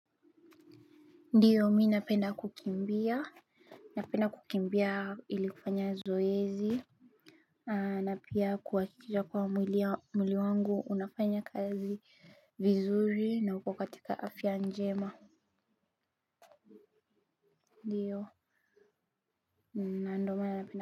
Ndiyo mi napenda kukimbia. Napenda kukimbia ili kufanya zoezi. Na pia kuhakisha kuwa mwili wangu unafanya kazi vizuri na uko katika afya njema. Ndiyo na ndo maana napenda.